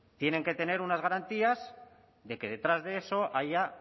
tienen que tener unas garantías de que detrás de eso haya